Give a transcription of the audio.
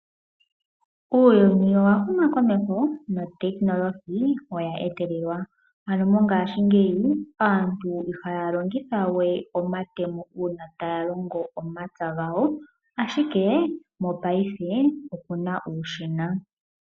Uuyuni owa huma komeho. Mongaashingeyi aantu ihaya longitha we omatemo uuna taya longo omapya gawo. Ashike mongaashingeyi oyena uushina.